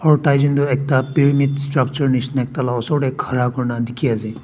aru taijont tu ekta pyramid structure nisna ekta logot te khara kori na dekhi ase.